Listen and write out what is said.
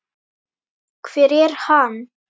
Hver er hann?